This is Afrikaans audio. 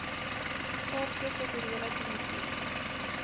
kaapse kulturele kommissie